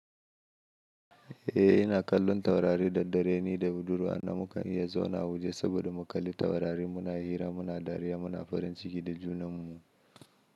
Eh ina kallon taurari da dare ni da budurwa. Na mukan iya zauna waje saboda mu kalli taurari muna hira, muna dariya, muna farin ciki da junanmu.